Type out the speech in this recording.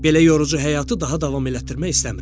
Belə yorucu həyatı daha davam elətdirmək istəmirəm.